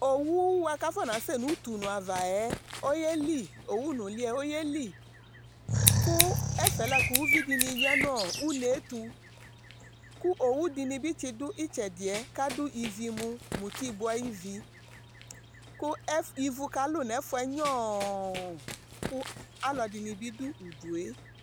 owu boa k'afɔna sɛ n'utu ne ava yɛ oyeli owu nuli yɛ oyeli kò ɛfɛ la kò uvi di ni ya n'une to kò owu di ni bi tsi do itsɛdi yɛ k'adu ivu mo muti bò ayi ivi kò ivu ka lu n'ɛfu yɛ nyɔɔ kò alò ɛdini bi do udu yɛ